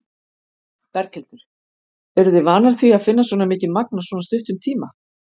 Berghildur: Eruð þið vanar því að finna svona mikið magn á svona stuttum tíma?